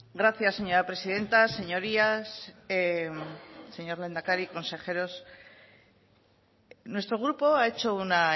gracias señora presidenta señorías señor lehendakari consejeros nuestro grupo ha hecho una